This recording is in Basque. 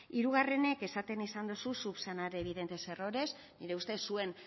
hirugarrenik esaten izan duzu subsanar evidentes errores nire ustez zuen